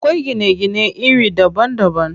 Akwai gine gine iri daban daban.